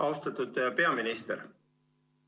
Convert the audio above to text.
Austatud peaminister!